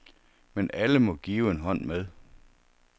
Men alle må give en hånd med.